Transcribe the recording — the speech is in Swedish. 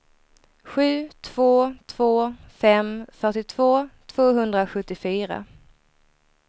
sju två två fem fyrtiotvå tvåhundrasjuttiofyra